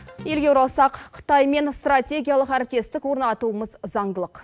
елге оралсақ қытаймен стратегиялық әріптестік орнатуымыз заңдылық